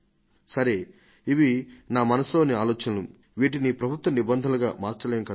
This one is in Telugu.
సరే ఇవి నా మనసులో ఆలోచనలు వీటిని ప్రభుత్వ నిబంధనలుగా మార్చలేం కదా